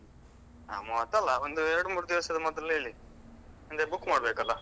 ಮೂವತ್ತಲ್ಲ, ಒಂದು ಎರಡ್ಮೂರ್ದಿವಸದ ಮೊದಲು ಹೇಳಿ ಅಂದ್ರೆ book ಮಾಡ್ಬೇಕಲ್ಲ.